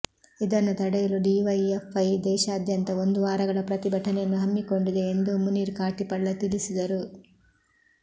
ಇದನ್ನು ತಡೆಯಲು ಡಿವೈಎಫ್ಐ ದೇಶಾದ್ಯಂತ ಒಂದು ವಾರಗಳ ಪ್ರತಿಭಟನೆಯನ್ನು ಹಮ್ಮಿಕೊಂಡಿದೆ ಎಂದು ಮುನೀರ್ ಕಾಟಿಪಳ್ಳ ತಿಳಿಸಿದರು